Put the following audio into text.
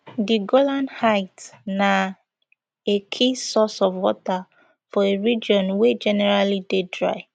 di golan heights na a key source of water for a region wey generally dey dry